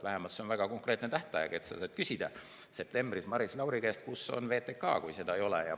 Vähemalt see on väga konkreetne tähtaeg, sa saad küsida septembris Maris Lauri käest, kus on VTK, kui seda ei ole.